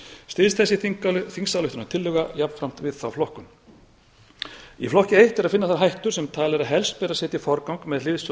styðst þessi þingsályktunartillaga jafnframt við þá flokkun í flokki eitt er að finna þá hættu sem talið er að helst verði að setja í forgang með hliðsjón